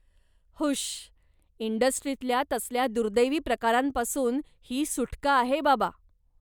हुश्श! इंडस्ट्रीतल्या तसल्या दुर्दैवी प्रकारांपासून ही सुटका आहे बाबा.